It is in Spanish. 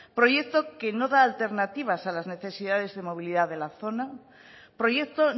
proyecto que no da alternativas a las necesidades de movilidad de la zona proyecto